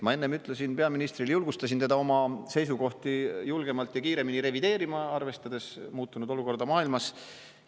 Ma enne ütlesin peaministrile, julgustasin teda oma seisukohti julgemalt ja kiiremini revideerima, arvestades muutunud olukorda maailmas.